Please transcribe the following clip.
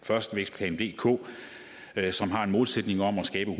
først vækstplan dk som har en målsætning om at skabe